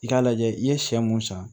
I k'a lajɛ i ye sɛ mun san